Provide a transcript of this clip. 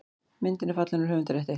Myndin er fallin úr höfundarrétti.